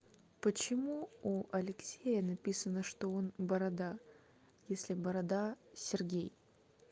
почему у алексея написано что он борода если борода сергей